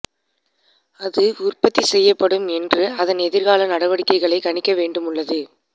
அது உற்பத்தி செய்யப்படும் என்று அதன் எதிர்கால நடவடிக்கைகளை கணிக்க வேண்டும் உள்ளது